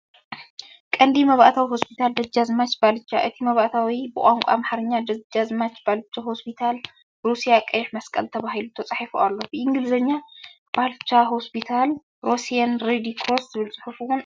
ቀንዲ መእተዊ ሆስፒታል ደጃዝማች ባልቻ፣ እቲ መእተዊ ብቋንቋ ኣምሓርኛ "ደጃዝማች ባልቻ ሆስፒታል ሩስያ ቀይሕ መስቀል" ተባሂሉ ተጻሒፉ ኣሎ። ብእንግሊዝኛ "BALCHA HOSPITAL RUSSIAN RED CROSS" ዝብል ጽሑፍ እውን ኣሎ።